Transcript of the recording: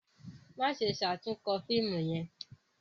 Maṣe ṣatunkọ fiimu yẹn!